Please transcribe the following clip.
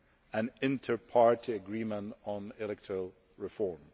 an inter party agreement on electoral reform.